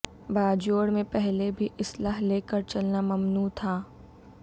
باجوڑ میں پہلے بھی اسلحہ لے کر چلنا ممنوع تھا